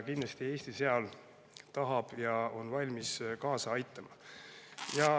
Kindlasti tahab Eesti seal kaasa aidata ja on selleks valmis.